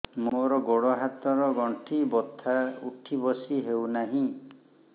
ମୋର ଗୋଡ଼ ହାତ ର ଗଣ୍ଠି ବଥା ଉଠି ବସି ହେଉନାହିଁ